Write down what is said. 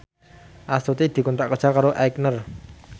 Astuti dikontrak kerja karo Aigner